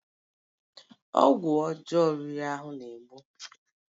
Ọgwụ ọjọọ riri ahụ na-egbu